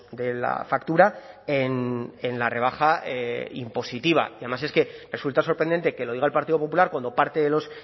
de la factura en la rebaja impositiva y además es que resulta sorprendente que lo diga el partido popular cuando parte de los